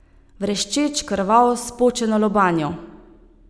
Vreščeč, krvav, s počeno lobanjo!